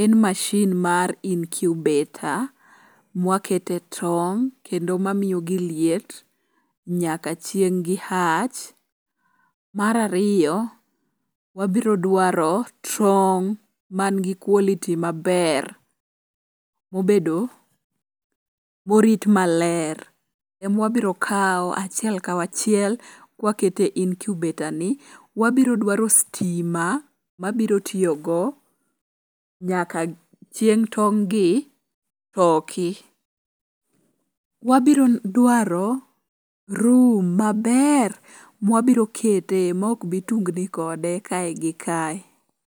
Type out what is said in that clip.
en mashin mar incubator mwa kete tong' kendo mamiyogi liet nyaka chieng' gi hatch. Mar ariyo, wabiro dwaro tong' manigi quality maber mobedo ,morit maler ema wabiro kawo achiel kachiel kawakete incubator ni, wabiro dwaro sitima mabiro tiyogo nyaka chieng' tong' gi poki. Wabiro dwaro room maber mwabiro kete ma ok bi tungni kode kae gi kae.